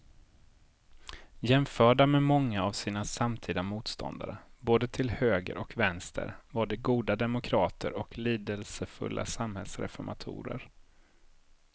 Jämförda med många av sina samtida motståndare både till höger och vänster var de goda demokrater och lidelsefulla samhällsreformatorer.